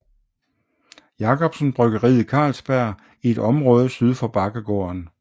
Jacobsen bryggeriet Carlsberg i et område syd for Bakkegården